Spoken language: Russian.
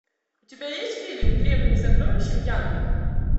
у тебя есть фильм древние сокровища мьянмы